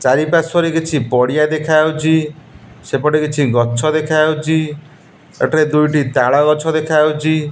ଚାରିପାର୍ଶ୍ବରେ କିଛି ପଡ଼ିଆ ଦେଖାଯାଉଚି ସେପଟେ କିଛି ଗଛ ଦେଖାଯାଉଚି ଏଠାରେ ଦୁଇଟି ତାଳ ଗଛ ଦେଖାଯାଉଚି।